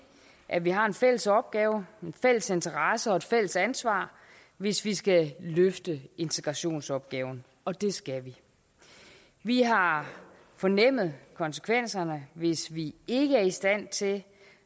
at vi har en fælles opgave en fælles interesse og et fælles ansvar hvis vi skal løfte integrationsopgaven og det skal vi vi har fornemmet konsekvenserne hvis vi ikke er i stand til